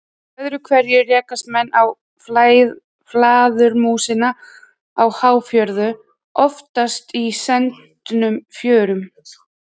Öðru hvoru rekast menn á flæðarmúsina á háfjöru, oftast í sendnum fjörum.